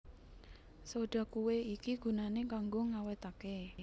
Soda kué iki gunané kanggo ngawétaké